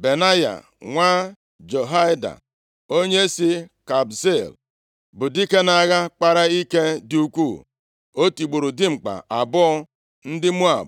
Benaya, nwa Jehoiada, onye si Kabzeel, bụ dike nʼagha, kpara ike dị ukwuu. O tigburu dimkpa abụọ ndị Moab,